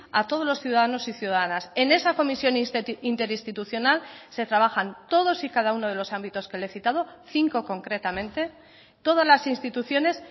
a todos los ciudadanos y ciudadanas en esa comisión interinstitucional se trabajan todos y cada uno de los ámbitos que le he citado cinco concretamente todas las instituciones